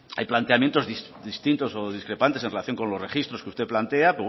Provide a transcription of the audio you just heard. hay planteamientos distintos o discrepantes en relación con los registros que usted plantea